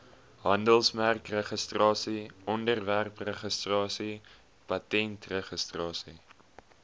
handelsmerkregistrasie ontwerpregistrasie patentregistrasie